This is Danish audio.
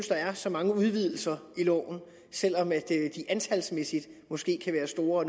der er så mange udvidelser i loven selv om de antalsmæssigt måske kan være store